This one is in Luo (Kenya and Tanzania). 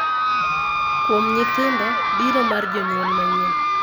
Kuom nyithindo, biro mar jonyuol manyien .